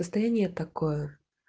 состояние такое